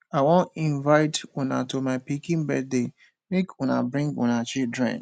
i wan invite una to my pikin birthday make una bring una children